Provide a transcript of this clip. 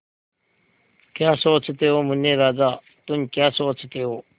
क्या सोचते हो मुन्ने राजा तुम क्या सोचते हो